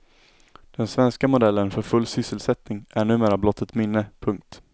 Den svenska modellen för full sysselsättning är numera blott ett minne. punkt